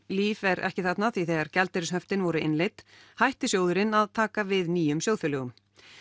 Líf er ekki þarna því þegar gjaldeyrishöftin voru innleidd hætti sjóðurinn að taka við nýjum sjóðfélögum